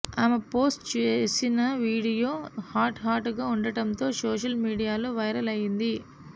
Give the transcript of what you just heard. ఆమె పోస్టు చేసిన వీడియో హాట్ హాట్గా ఉండటంతో సోషల్ మీడియాలో వైరల్ అయింది